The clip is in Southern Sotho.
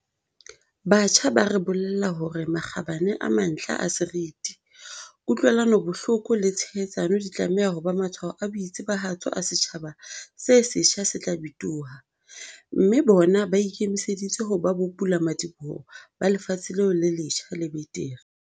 Batjha ba re bolella hore makgabane a mantlha a seriti, ku-tlwelanobohloko le tshehetsano di tlameha ho ba matshwao a boitsebahatso a setjhaba se setjha se tla bitoha, mme bona ba ikemiseditse ho ba bopulamadiboho ba lefatshe leo le letjha le betere.